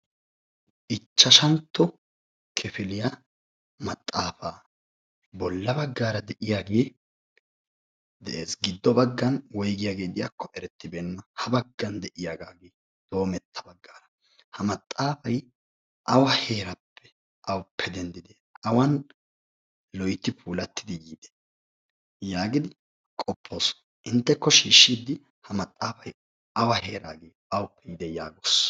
Ichashshantto kifiliyaa maxaaafa, bolla baggara de'iyaage de'ees. giddon baggan woyggiyaage de'iyaakko erettibeena. ha baggan de'iyaagagee doommetta baggan. maxaafay awa heerappe awuppe denddidi awan loytti puulatidi yiide? yaagidi qoppoos, inteekko shiishshidi ha maxaafay awa heeragge awuppe yiide yaagoos?